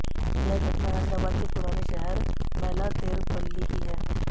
यह घटना हैदराबाद के पुराने शहर मैलार्देवपल्ली की है